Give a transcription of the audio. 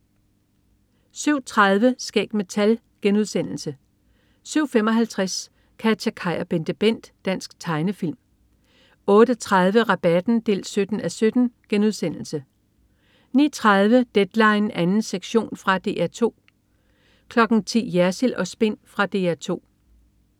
07.30 Skæg med tal* 07.55 KatjaKaj og BenteBent. Dansk tegnefilm 08.30 Rabatten 17:17* 09.30 Deadline 2. sektion. Fra DR 2 10.00 Jersild & Spin. Fra DR 2